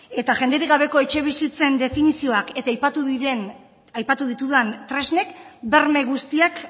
eta jenderik gabeko etxebizitzen definizioak eta aipatu ditudan tresnek berme guztiak